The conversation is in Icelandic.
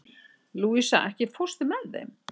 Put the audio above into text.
Louisa, ekki fórstu með þeim?